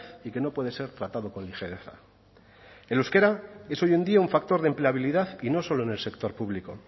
y que no puede ser tratado con ligereza el euskera es hoy en día un factor de empleabilidad y no solo en el sector público